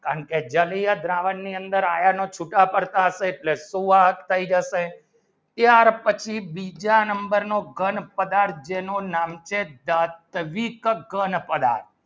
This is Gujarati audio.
છુટા પડતા હશે એટલે સુવાહક થઈ જશે ત્યાર પછી બીજા number નો ઘન પદાર્થ જેનું નામ છે